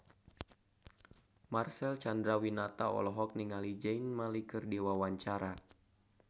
Marcel Chandrawinata olohok ningali Zayn Malik keur diwawancara